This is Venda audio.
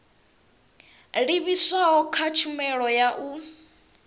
livhiswaho kha tshumelo ya u